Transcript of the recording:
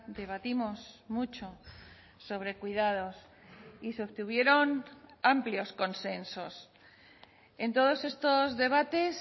debatimos mucho sobre cuidados y se obtuvieron amplios consensos en todos estos debates